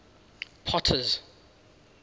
potter's